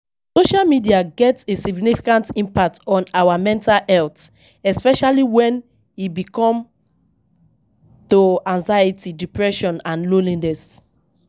Social media get a significant impact on our mental health, especially when e come to anxiety, depression and loneliness.